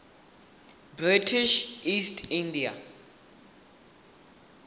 british east india